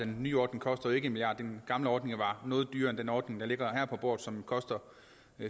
nye ordning koster ikke en milliard kroner den gamle ordning var noget dyrere end den ordning der ligger her på bordet og som koster